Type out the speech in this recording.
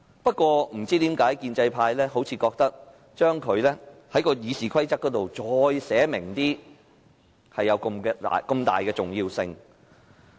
不過，不知為何建制派似乎覺得，將這些權力在《議事規則》更清楚寫明，是如此重要。